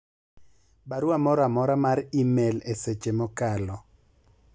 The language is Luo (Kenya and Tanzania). barua moro amora mar email e seche mokalo